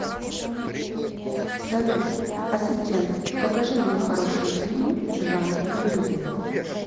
салют ассистент покажи мне хорошие фильмы в жанре комедия